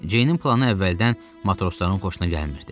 Ceynin planı əvvəldən matrosların xoşuna gəlmirdi.